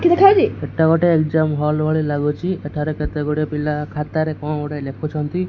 ଏଟା ଗୋଟେ exam hall ଭଳି ଲାଗୁଚି ଏଠାରେ କେତେଗୁଡିଏ ପିଲା ଖାତାରେ କଣ ଗୋଟେ ଲେଖୁଛନ୍ତି।